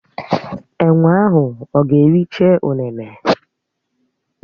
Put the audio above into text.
Enwé ahụ ọ̀ ga-ericha ụnene?